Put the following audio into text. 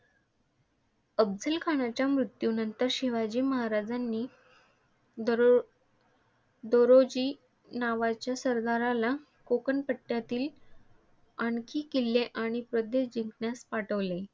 अफझलखानाच्या मृत्यूनंतर शिवाजी महाराजांनी डोरो दोरोजी नावाच्या सरदाराला कोंकण पट्ट्यातील आणखी किल्ले आणि प्रदेश जिंकण्यास पाठविले.